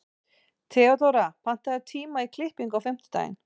Theodóra, pantaðu tíma í klippingu á fimmtudaginn.